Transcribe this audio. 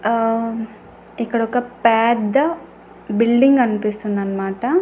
ఆ ఇక్కడొక పెద్ద బిల్డింగ్ గన్పిస్తుందన్మాట.